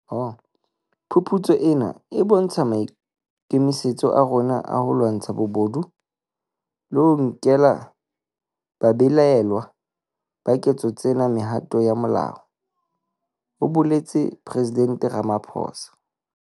"Phuputso ena e bontsha maikemisetso a rona a ho lwantsha bobodu le ho nkela babelaellwa ba ketso tsena mehato ya molao," ho boletse Presidente Ramaphosa.